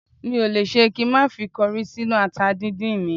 Mi ò le ṣe kí n má fi kọrí sínú ata dídín mi